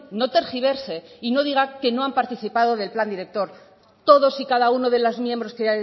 no tergiverse y no diga que no han participado del plan director todos y cada uno de los miembros que